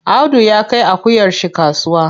Audu ya kai akuyar shi kasuwa.